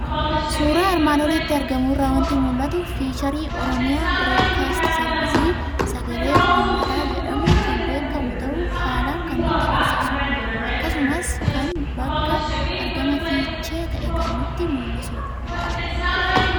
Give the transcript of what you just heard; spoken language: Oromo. Suuraa armaan olitti argamu irraa waanti mul'atu; fiicharii Oromiyaa biroodkaastii seervisii (OBN) sagalee uummataa jedhamun kan beekamu ta'uu haalan kan nutti agarsiisudha. Akkasumas kan bakka argama Fiichee ta'e kan nutti mul'isudha.